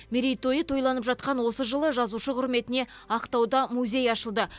мерейтойы тойланып жатқан осы жылы жазушы құрметіне ақтауда музей ашылды